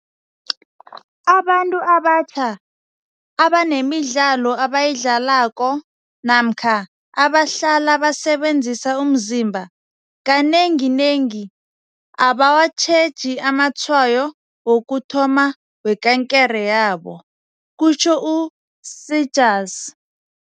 Abantu abatjha, abanemidlalo abayidlalako namkha abahlala basebenzisa umzimba, kanenginengi abawatjheji amatshayo wokuthoma wekankere yabo, kutjho u-Seegers.